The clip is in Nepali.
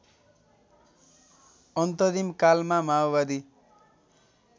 अन्तरिम कालमा माओवादी